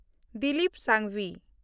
Dilip Sanghvi